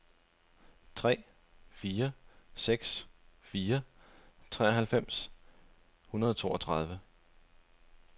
tre fire seks fire treoghalvfems et hundrede og toogtyve